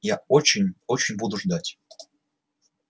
я очень очень буду ждать